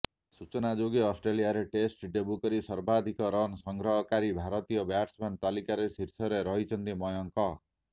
ସୂଚନାଯୋଗ୍ୟ ଅଷ୍ଟ୍ରେଲିଆରେ test debut କରି ସର୍ବାଧିକ ରନ୍ ସଂଗ୍ରହକାରୀ ଭାରତୀୟ ବ୍ୟାଟ୍ସମ୍ୟାନ୍ଙ୍କ ତାଲିକାର ଶୀର୍ଷରେ ରହିଛନ୍ତି ମୟଙ୍କ